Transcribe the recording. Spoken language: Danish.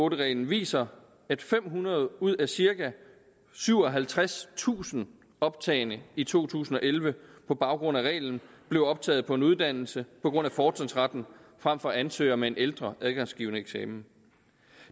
en reglen viser at fem hundrede ud af cirka syvoghalvtredstusind optagne i to tusind og elleve på baggrund af reglen blev optaget på en uddannelse på grund af fortrinsretten frem for ansøgere med en ældre adgangsgivende eksamen